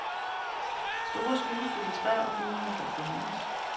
Store, skyggefulde træer og bygninger bør fjernes.